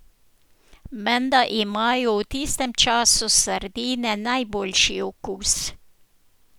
Menda imajo v tistem času sardine najboljši okus.